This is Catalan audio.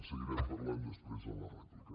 en seguirem parlant després en la rèplica